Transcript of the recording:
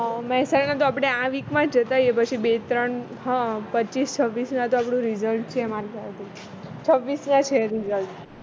મેહસાણા તો આપણે આ week માં જતા આવીયે પછી બે ત્રણ પચીસ છવ્વીસ માં તો આપણું result છે છવ્વીસ ના છે result